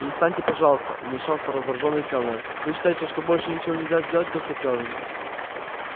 перестаньте пожалуйста вмешался раздражённый кэллнер вы считаете что больше ничего нельзя сделать доктор кэлвин